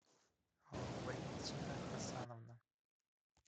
валентина хасановна